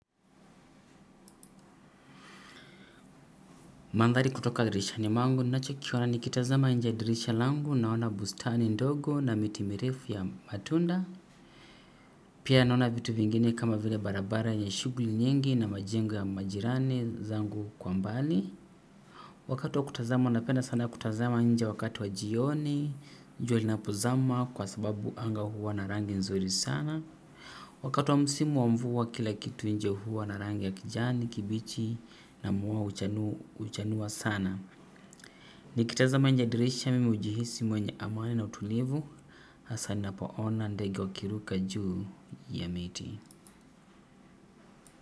Mandhali kutoka dirisha ni mangu nacho kiwana nikitazama njadirisha langu naona bustani ndogo na mitimirifu ya matunda. Pia naona vitu vingine kama vile barabara yenye shughli nyingi na majengo ya majirani zangu kwa mbali. Wakati wa kutazama napenda sana kutazama nje wakati wa jioni jua linapo zama kwa sababu anga huwa na rangi nzuri sana. Wakati wa msimu wa mvua kila kitu nje huwa na rangi ya kijani kibichi na muwa huchanua sana. Nikitazama nje ya dirisha mimi hujihisi mwenye amani na utulivu. Hasa ninapo ona ndega wakiruka juu ya miti.